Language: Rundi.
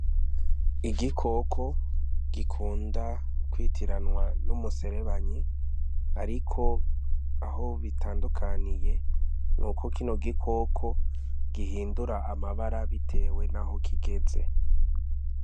Igikoko gikunda kwitiranwa n'umuserebanyi ariko aho bitandukaniye nuko kino gikoko gihindura amabara bitewe naho kigeze.